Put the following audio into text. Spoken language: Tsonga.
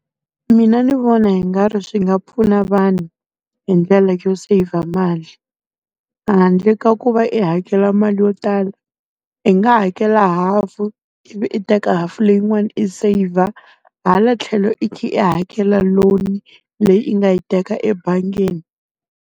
Mina ndzi vona hi nga ri swi nga pfuna vanhu hi ndlela yo saver mali. Handle ka ku va i hakela mali yo tala, i nga hakela hafu ivi i teka hafu leyin'wana i saver. Hala tlhelo i kha i hakela loan, leyi i nga yi teka ebangini.